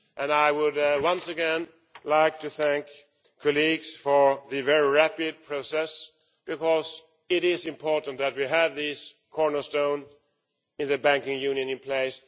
I would once again like to thank colleagues for the very rapid process, because it is important that we have this cornerstone in the banking union in place.